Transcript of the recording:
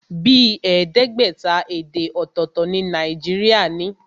Bíi ẹẹdẹgbẹta èdè ọ̀tọ̀tọ̀ ni Nàìjíríà ní.